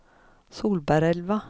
Solbergelva